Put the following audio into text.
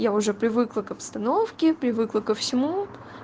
я уже привыкла к обстановке привыкла ко всему